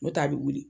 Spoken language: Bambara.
N'o tɛ a bɛ wuli